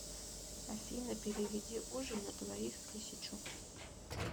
афина переведи ужин на двоих тысячу